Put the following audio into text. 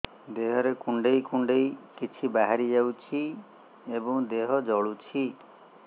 ଦେହରେ କୁଣ୍ଡେଇ କୁଣ୍ଡେଇ କିଛି ବାହାରି ଯାଉଛି ଏବଂ ଦେହ ଜଳୁଛି